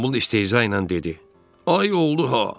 Qombul istehza ilə dedi: "Ay oldu ha!"